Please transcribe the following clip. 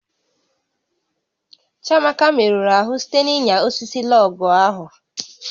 Chiamaka merụrụ ahụ site na ịnya osisi lọọgụ̀ ahụ